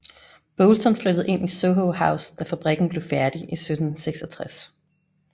Boulton flyttede ind i Soho House da fabrikken blev færdig i 1766